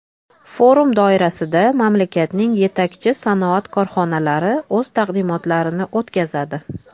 Forum doirasida mamlakatning yetakchi sanoat korxonalari o‘z taqdimotlarini o‘tkazadi.